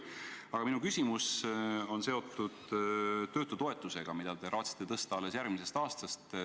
Aga minu küsimus on seotud töötutoetusega, mida te raatsite tõsta alles järgmisest aastast.